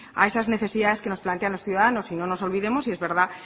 a esas necesidades que nos plantean los ciudadanos y no nos olvidemos y es verdad